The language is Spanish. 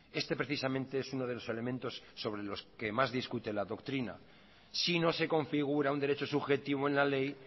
este precisamente es uno de los elementos sobre los que más discute la doctrina si no se configura un derecho subjetivo en la ley